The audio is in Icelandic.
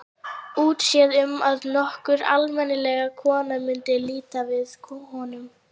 Útséð um að nokkur almennileg kona mundi líta við honum.